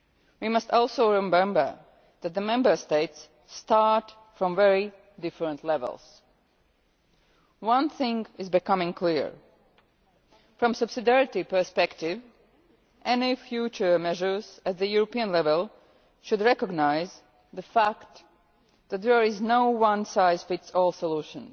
We must also remember that the Member States start from very different levels. One thing is becoming clear from the subsidiarity perspective, any future measures at European level should recognise the fact that there is no one size fits all solution.